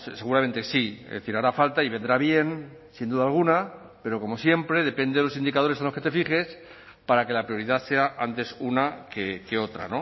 seguramente sí es decir hará falta y vendrá bien sin duda alguna pero como siempre depende de los indicadores en los que te fijes para que la prioridad sea antes una que otra